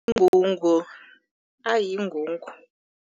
Ingungu yingungu.